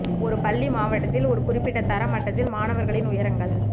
ஒரு பள்ளி மாவட்டத்தில் ஒரு குறிப்பிட்ட தர மட்டத்தில் மாணவர்களின் உயரங்கள்